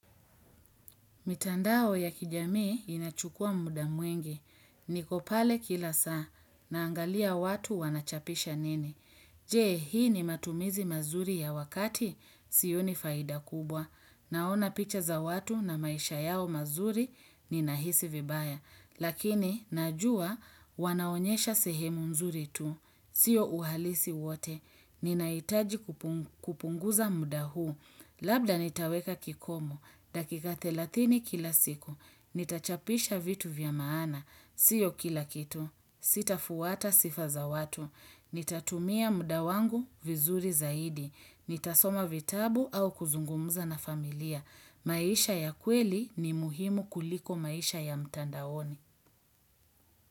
Mitandao ya kijamii inachukua muda mwingi. Niko pale kila saa. Naangalia watu wanachapisha nini. Je, hii ni matumizi mazuri ya wakati. Sioni faida kubwa. Naona picha za watu na maisha yao mazuri ni nahisi vibaya. Lakini, najua, wanaonyesha sehemu mzuri tu. Sio uhalisi wote. Ninahitaji kupunguza muda huu. Labda nitaweka kikomu. Dakika 30 kila siku. Nitachapisha vitu vya maana. Sio kila kitu. Sitafuata sifa za watu. Nitatumia muda wangu vizuri zaidi. Nitasoma vitabu au kuzungumuza na familia. Maisha ya kweli ni muhimu kuliko maisha ya mtandaoni.